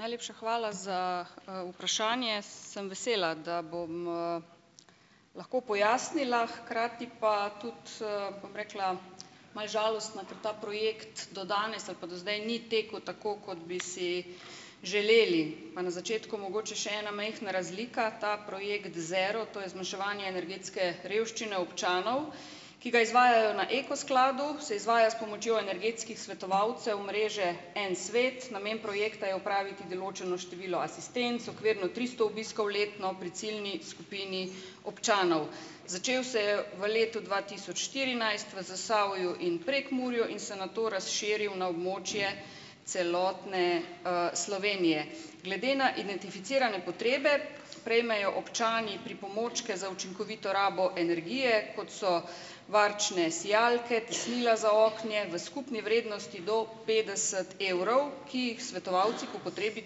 Najlepša hvala za, vprašanje! Sem vesela, da bom, lahko pojasnila hkrati pa tudi, bom rekla, malo žalostno, ker ta projekt do danes ali pa do zdaj ni tekel tako, kot bi si želeli. Pa na začetku mogoče še ena majhna razlika, ta projekt Zero, to je zmanjševanje energetske revščine občanov, ki ga izvajajo na Eko skladu, se izvaja s pomočjo energetskih svetovalcev mreže En svet. Namen projekta je opraviti določeno število asistenc, okvirno tristo obiskov letno pri ciljni skupini občanov. Začel se je v letu dva tisoč štirinajst, v Zasavju in Prekmurju in se nato razširil na območje celotne, Slovenije. Glede na identificirane potrebe prejmejo občani pripomočke za učinkovito rabo energije, kot so varčne sijalke, tesnila za okna, v skupni vrednosti do petdeset evrov, ki jih svetovalci po potrebi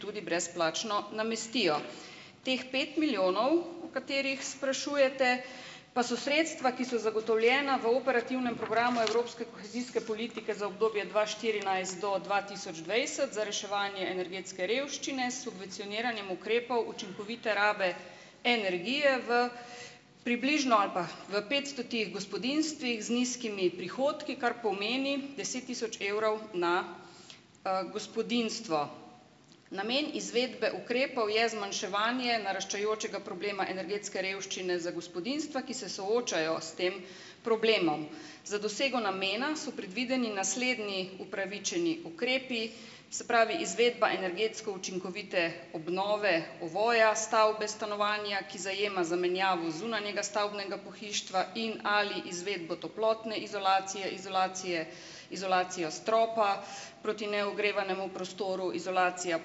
tudi brezplačno namestijo. Teh pet milijonov, o katerih sprašujete, pa so sredstva, ki so zagotovljena v operativnem programu evropske kohezijske politike za obdobje dva štirinajst do dva tisoč dvajset za reševanje energetske revščine s subvencioniranjem ukrepov učinkovite rabe energije v približno ali pa, v petstotih gospodinjstvih z nizkimi prihodki, kar pomeni, deset tisoč evrov na, gospodinjstvo. Namen izvedbe ukrepov je zmanjševanje naraščajočega problema energetske revščine za gospodinjstva, ki se soočajo s tem problemom. Za dosego namena so predvideni naslednji upravičeni ukrepi, se pravi, izvedba energetsko učinkovite obnove ovoja stavbe, stanovanja, ki zajema zamenjavo zunanjega stavbnega pohištva in ali izvedbo toplotne izolacije, izolacije izolacijo stropa, proti neogrevanemu prostoru izolacija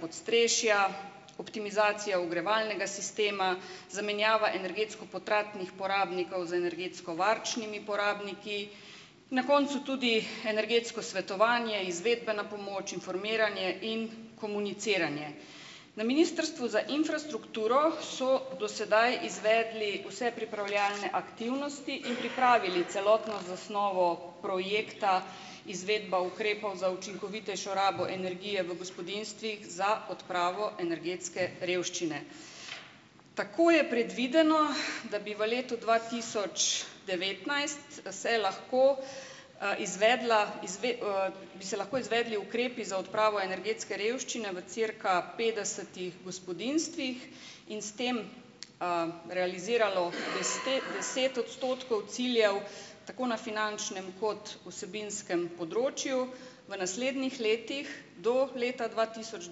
podstrešja, optimizacija ogrevalnega sistema, zamenjava energetsko potratnih porabnikov z energetsko varčnimi porabniki, na koncu tudi energetsko svetovanje, izvedbena pomoč, informiranje in komuniciranje. Na Ministrstvu za infrastrukturo so do sedaj izvedli vse pripravljalne aktivnosti in pripravili celotno zasnovo projekta Izvedba ukrepov za učinkovitejšo rabo energije v gospodinjstvih za odpravo energetske revščine. Tako je predvideno, da bi v letu dva tisoč devetnajst se lahko, izvedla bi se lahko izvedli ukrepi za odpravo energetske revščine v cirka petdesetih gospodinjstvih in s tem, realiziralo deset odstotkov ciljev, tako na finančnem kot vsebinskem področju. V naslednjih letih do leta dva tisoč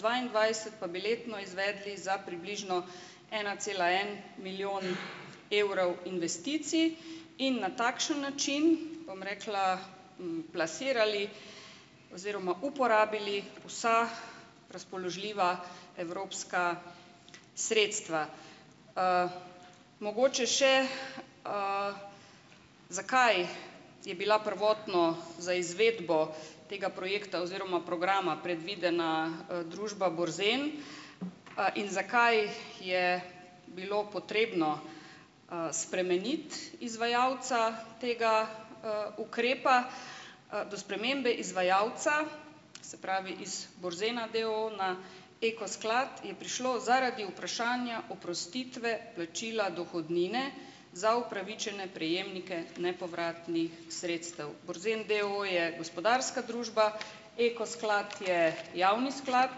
dvaindvajset pa bi letno izvedli za približno ena cela en milijon evrov investicij in na takšen način, bom rekla, plasirali oziroma uporabili vsa razpoložljiva evropska sredstva. Mogoče še, zakaj je bila prvotno za izvedbo tega projekta oziroma programa predvidena, družba Borzen, in zakaj je bilo potrebno, spremeniti izvajalca tega, ukrepa, do spremembe izvajalca, se pravi, iz Borzena d. o. o. na Eko sklad je prišlo zaradi vprašanja oprostitve plačila dohodnine za upravičene prejemnike nepovratnih sredstev. Borzen d. o. o. je gospodarska družba, Eko sklad je javni sklad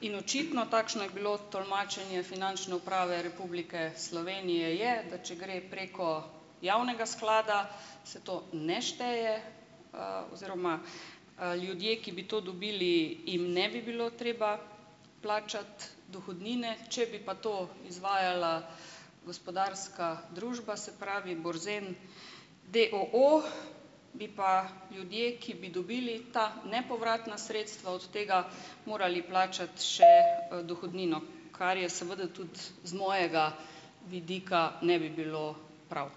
in očitno, takšno je bilo tolmačenje Finančne uprave Republike Slovenije, je, da če gre preko javnega sklada, se to ne šteje, oziroma, ljudje, ki bi to dobili, jim ne bi bilo treba plačati dohodnine, če bi pa to izvajala gospodarska družba, se pravi Borzen d. o. o., bi pa ljudje, ki bi dobili ta nepovratna sredstva od tega, morali plačati še, dohodnino, kar je seveda tudi z mojega vidika ne bi bilo prav.